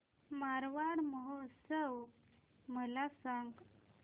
मारवाड महोत्सव मला सांग